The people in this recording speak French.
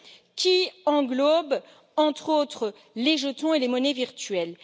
qui englobe, entre autres, les jetons et les monnaies virtuelles.